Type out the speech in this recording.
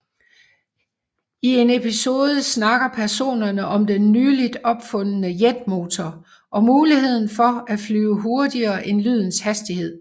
I en episode snakker personerne om den nyligt opfundne jetmotor og muligheden for at flyve hurtigere end lydens hastighed